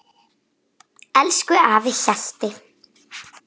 Elsku afi Hjalti.